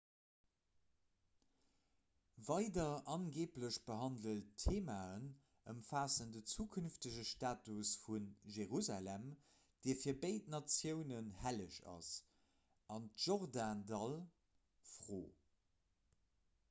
weider angeeblech behandelt theemaen ëmfaassen den zukünftege status vu jerusalem dee fir béid natiounen helleg ass an d'jordandall-fro